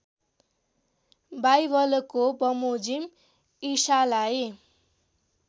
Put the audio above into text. बाइबलको बमोजिम़ ईशालाई